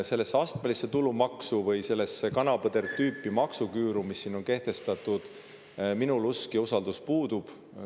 Sellesse astmelisse tulumaksu või sellesse kana-põder-tüüpi maksuküüru, mis siin on kehtestatud, minul usk puudub, usaldus selle vastu puudub.